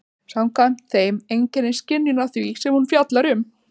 Samkvæmt þeim einkennist skynjunin af því sem hún fjallar um.